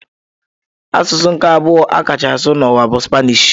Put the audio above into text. Asụsụ nke abụọ a kacha asụ n'ụwa bụ Spanish.